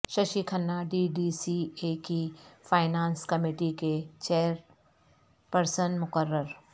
Shashi Khanna D D C A کی finance committee کے chairperson مقرر